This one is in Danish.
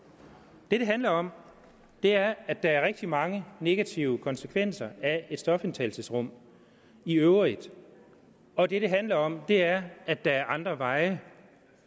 det det handler om er at der er rigtig mange negative konsekvenser af et stofindtagelsesrum i øvrigt og det det handler om er at der er andre veje